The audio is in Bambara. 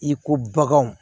I ko baganw